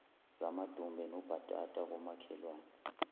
zamadumbe nobhatata komakhelwane